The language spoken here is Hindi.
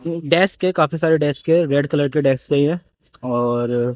डेस्क है काफी सारे डेस्क है रेड कलर के डेस्क है ये और--